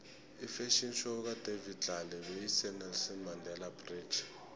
ifafhion show kadavid tlale beyise nelson mandele bridge